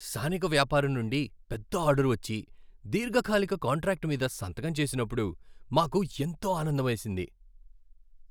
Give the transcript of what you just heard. స్థానిక వ్యాపారం నుండి పెద్ద ఆర్డర్ వచ్చి, దీర్ఘకాలిక కాంట్రాక్టు మీద సంతకం చేసినప్పుడు మాకు ఎంతో ఆనందమేసింది.